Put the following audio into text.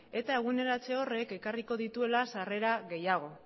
eta eguneratze horrek ekarriko dituela sarera gehiago